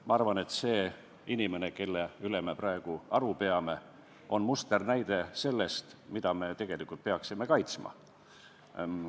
Ma arvan, et see inimene, kelle üle me praegu aru peame, on musternäide selle kohta, mida me tegelikult peaksime kaitsma.